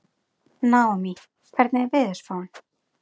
Naómí, hvernig er veðurspáin?